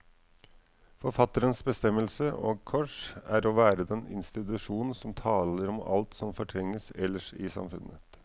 Forfatterens bestemmelse, og kors, er å være den institusjon som taler om alt som fortrenges ellers i samfunnet.